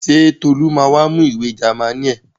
Ṣé Tolú ma wá mú ìwé Jámánì ẹ̀?